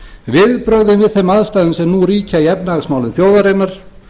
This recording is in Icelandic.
viðbrögðin við þeim aðstæðum sem nú ríkja í efnahagsmálum þjóðarinnar